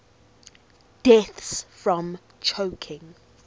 deaths from choking